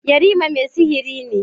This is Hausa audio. Yarima mai sihiri ne.